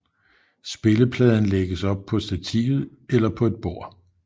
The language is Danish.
Spillepladen lægges op på stativet eller på et bord